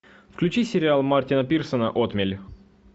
включи сериал мартина пирсона отмель